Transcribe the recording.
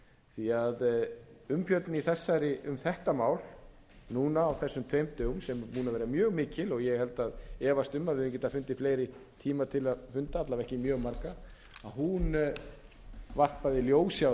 yfir þessi mál því að umfjöllun um þetta mál núna á þessum tveim dögum sem er búin að vera mjög mikil og ég efast um að við hefðum getað fundið fleiri tíma til að funda alla vega ekki mjög marga að hún varpaði ljósi á